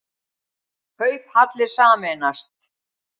Kauphallir sameinast